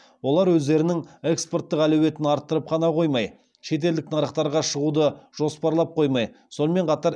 олар өздерінің экспорттық әлеуетін арттырып қана қоймай шетелдік нарықтарға шығуды жоспарлап қоймай сонымен қатар